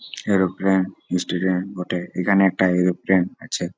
Aeroplane station বটে। এখানে একটা এরোপ্লেন আছে।